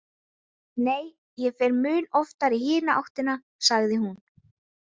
Nei, ég fer mun oftar í hina áttina, sagði hún.